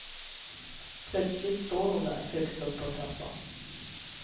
Plötsligt står hon där, högst upp på trappan.